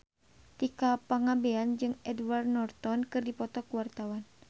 Tika Pangabean jeung Edward Norton keur dipoto ku wartawan